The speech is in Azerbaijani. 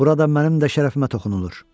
Burada mənim də şərəfimə toxunulur.